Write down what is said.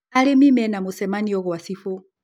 Arĩmi mena mũcemanio gwa cibũ